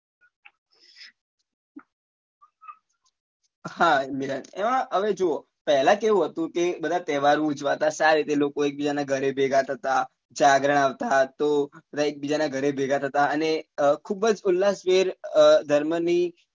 હા એમાં હવે જુઓ પહેલા કેવું હતું કે બધા તહેવાર ઉજવાતા સારી રીતે એક બીજા ના ઘરે ભેગા થતા જાગરણ આવતા તો બધા એક બીજા ના ઘરે ભેગા થતા અને ખુબ જ ઉલ્લાસ ભેર અ ધર્મ ની